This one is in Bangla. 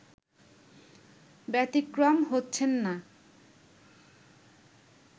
ব্যাতিক্রম হচ্ছেন না